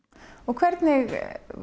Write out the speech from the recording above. hvernig